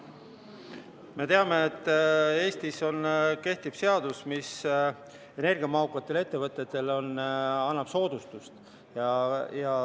Me teame, et Eestis kehtib seadus, mis energiamahukatele ettevõtetele annab soodustust.